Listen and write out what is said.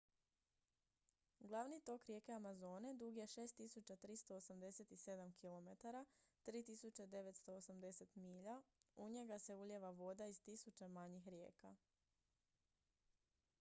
glavni tok rijeke amazone dug je 6387 km 3.980 milja. u njega se ulijeva voda iz tisuća manjih rijeka